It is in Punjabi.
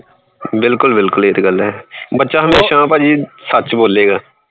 ਬਿਲਕੁਲ ਬਿਲਕੁਲ ਇਹ ਤੇ ਗੱਲ ਹੈ ਬੱਚਾ ਹਮੇਸ਼ਾ ਭਾਜੀ ਸੱਚ ਬੋਲੇਗਾ।